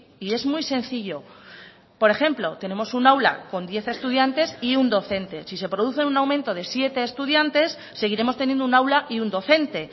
y es muy sencillo por ejemplo tenemos un aula con diez estudiantes y un docente si se produce un aumento de siete estudiantes seguiremos teniendo un aula y un docente